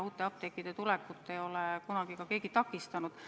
Uute apteekide tulekut ei ole kunagi keegi takistanud.